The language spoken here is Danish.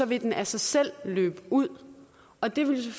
vil den af sig selv løbe ud og det vil